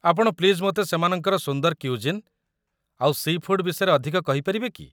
ଆପଣ ପ୍ଲିଜ୍ ମୋତେ ସେମାନଙ୍କର ସୁନ୍ଦର କ୍ୟୁଜିନ୍ ଆଉ ସି' ଫୁଡ୍ ବିଷୟରେ ଅଧିକ କହିପାରିବେ କି?